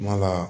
N'a ka